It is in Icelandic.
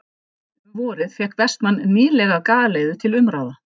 Um vorið fékk Vestmann nýlega galeiðu til umráða.